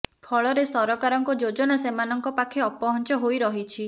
ଫଳରେ ସହକାରଙ୍କ ଯୋଜନା ସେମାନଙ୍କ ପାଖେ ଅପହଞ୍ଚ ହୋଇ ରହିଛି